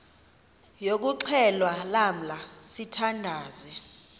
yokuxhelwa lamla sithandazel